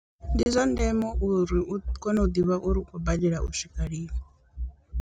Ndi zwa ndeme uri u kone u ḓivha uri u khou badela u swika lini.